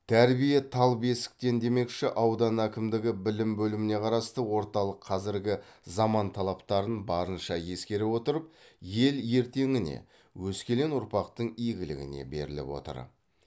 тәрбие тал бесіктен демекші аудан әкімдігі білім бөліміне қарасты орталық қазіргі заман талаптарын барынша ескере отырып ел ертеңіне өскелең ұрпақтың игілігіне беріліп отыр